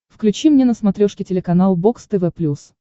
включи мне на смотрешке телеканал бокс тв плюс